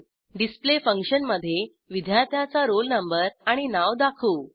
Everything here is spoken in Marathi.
डिस्प्ले फंक्शन मधे विद्यार्थ्याचा रोल नंबर आणि नाव दाखवू